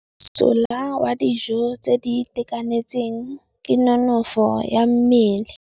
Mosola wa dijô tse di itekanetseng ke nonôfô ya mmele.